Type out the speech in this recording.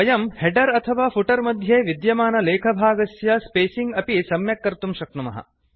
वयं हेडर अथवा फुटर मध्ये विद्यमानलेखभागस्य स्पेसिंग् अपि सम्यक् कर्तुं शक्नुमः